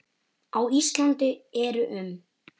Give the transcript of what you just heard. Á Íslandi eru um